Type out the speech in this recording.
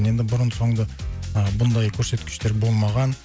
енді бұрын соңды ы бұндай көрсеткіштер болмаған